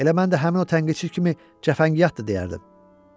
Elə mən də həmin o tənqidçi kimi cəfəngiyatdır deyərdim.